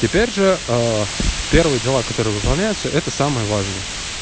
теперь же первый дела которые выполняются это самое важное